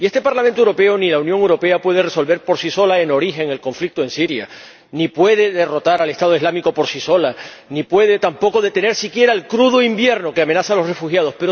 Y ni este Parlamento Europeo ni la Unión Europea pueden resolver por sí solos, en origen, el conflicto en Siria, ni pueden derrotar al Estado Islámico por sí solos, ni pueden tampoco detener siquiera el crudo invierno que amenaza a los refugiados.